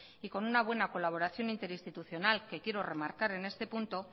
y con una buena colaboración interinstitucional que quiero remarcar en este punto